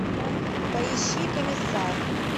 поищи комиссар